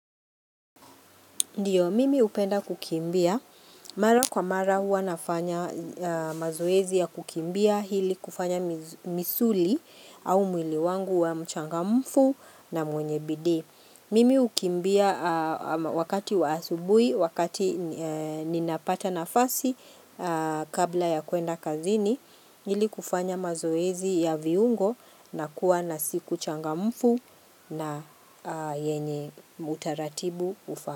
Ndiyo, mimi hupenda kukimbia. Mara kwa mara huwa nafanya mazoezi ya kukimbia ili kufanya misuli, au mwili wangu kuwa mchangamfu na mwenye bidi. Mimi hukimbia wakati wa asubuhi, wakati ninapata nafasi kabla ya kuenda kazini, ili kufanya mazoezi ya viungo na kuwa na siku changamfu na yenye utaratibu ufaayo.